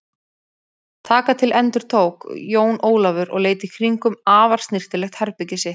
Taka til endurtók Jón Ólafur og leit í kringum afar snyrtilegt herbergið sitt.